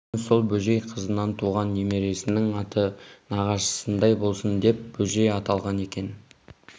кейін сол бөжей қызынан туған немересінің аты нағашысындай болсын деп бөжей аталған екен